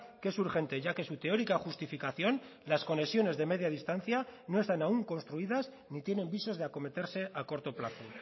que es urgente ya que su teórica justificación las conexiones de media distancia no están aún construidas ni tienen visos de acometerse a corto plazo